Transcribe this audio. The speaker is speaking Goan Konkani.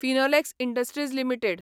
Finolex industries limited